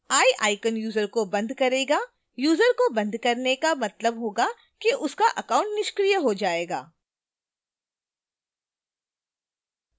eye icon user को बंद करेगा यूजर को बंद करने का मतलब होगा कि उसका account निष्क्रिय हो जाएगा